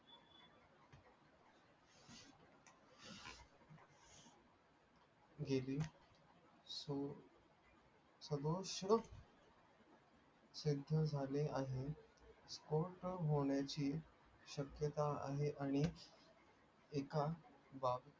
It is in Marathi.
गेली आणि खोट बोलायची शक्यता आहे आणि एखा